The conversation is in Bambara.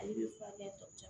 I bɛ furakɛ tɔ